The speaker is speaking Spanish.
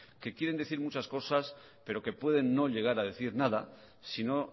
que quieren decir muchas cosas pero que pueden no llegar a decir nada si no